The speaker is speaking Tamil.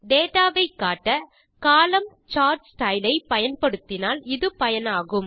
டேட்டா வை காட்ட கோலம்ன் சார்ட் ஸ்டைல் ஐ பயன்படுத்தினால் இது பயனாகும்